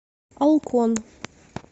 олкон